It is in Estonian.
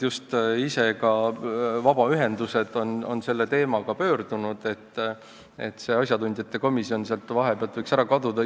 Just vabaühendused ise on selle teemaga meie poole pöördunud, et see asjatundjate komisjon sealt vahepealt võiks ära kaduda.